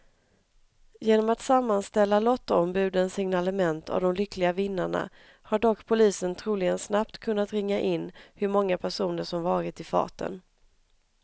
Genom att sammanställa lottombudens signalement av de lyckliga vinnarna har dock polisen troligen snabbt kunna ringa in hur många personer som varit i farten.